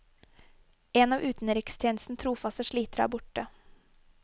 En av utenrikstjenestens trofaste slitere er borte.